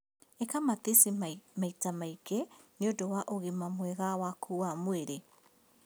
ĩka matici maita maingĩ nĩũndũ wa ũgima mwega waku wa mwĩrĩ.